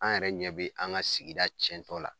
An yɛrɛ ɲɛ be an ŋa sigida tiɲɛtɔ la.